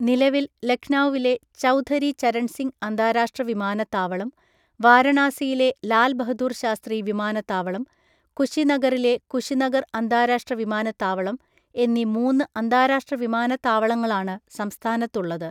നിലവിൽ ലഖ്നൗവിലെ, ചൗധരി ചരൺ സിംഗ് അന്താരാഷ്ട്ര വിമാനത്താവളം, വാരണാസിയിലെ ലാൽ ബഹദൂർ ശാസ്ത്രി വിമാനത്താവളം, കുശിനഗറിലെ കുശിനഗർ അന്താരാഷ്ട്ര വിമാനത്താവളം എന്നീ മൂന്ന് അന്താരാഷ്ട്ര വിമാനത്താവളങ്ങളാണ് സംസ്ഥാനത്തുള്ളത്.